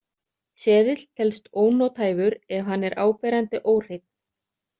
Seðill telst ónothæfur ef hann er áberandi óhreinn.